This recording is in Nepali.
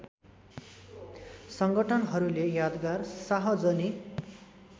सङ्गठनहरूले यादगार शाहजनी